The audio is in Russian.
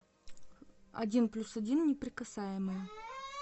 один плюс один неприкасаемые